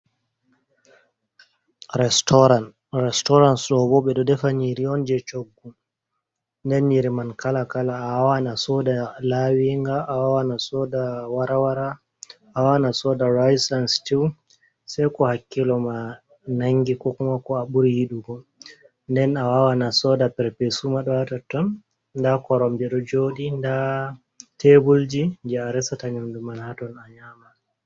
Restaurant: Restaurant ɗobo ɓe ɗo defa nyiri on je choggu. Nden nyiri man kala-kala. Awawan asoda lawinga, wawan asoda rice and stew. Sai ko hakkilo ma nangi ko kuma ko a ɓuri yiɗugo. Nden awawan asoda perpesup ma ɗo ha totton. Nda koromje ɗo joɗi, nda teburji je aresata nyamdu man haton, a nyama.